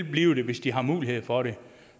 blive der hvis de har mulighed for det